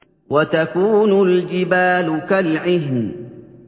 وَتَكُونُ الْجِبَالُ كَالْعِهْنِ